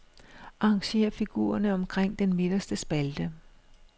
Arrangér figurerne omkring den midterste spalte.